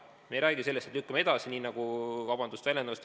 Me ei räägi sellest, et lükkame edasi, nii nagu – vabandust väljenduse eest!